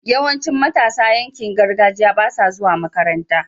yawancin matasan yankin gargajiya basa zuwa makaranta